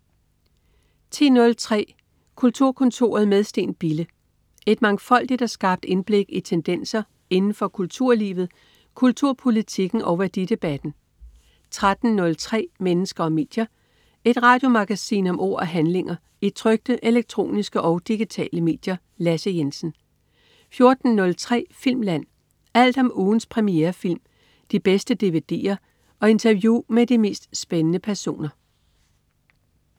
10.03 Kulturkontoret med Steen Bille. Et mangfoldigt og skarpt indblik i tendenser inden for kulturlivet, kulturpolitikken og værdidebatten 13.03 Mennesker og medier. Et radiomagasin om ord og handlinger i trykte, elektroniske og digitale medier. Lasse Jensen 14.03 Filmland. Alt om ugens premierefilm, de bedste dvd'er og interview med de mest spændende personer